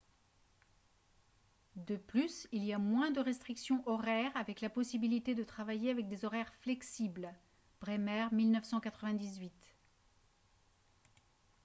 de plus il y a moins de restrictions horaires avec la possibilité de travailler avec des horaires flexibles. bremer 1998